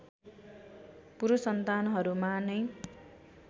पुरुष सन्तानहरूमा नै